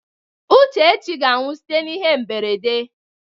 Uchechi ga-anwụ site n'ihe mberede.